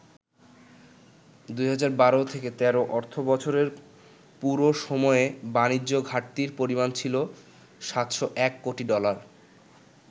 ২০১২-১৩ অর্থবছরের পুরো সময়ে বাণিজ্য ঘাটতির পরিমাণ ছিল ৭০১ কোটি ডলার।